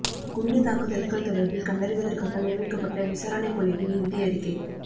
குண்டுத் தாக்குதல்கள் தொடர்பில் கண்டறிவதற்காக நியமிக்கப்பட்ட விசாரணைக் குழுவின் இறுதி அறிக்கை